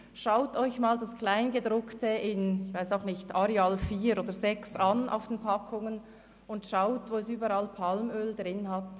Sehen Sie sich einmal das Kleingedruckte in Schriftgrösse Arial 4 oder 6 auf den Packungen an, und achten Sie sich, wo es überall Palmöl drin hat.